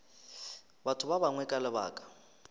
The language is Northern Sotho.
batho ba bangwe ka lebaka